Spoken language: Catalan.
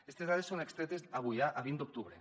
aquestes dades són extretes avui a vint d’octubre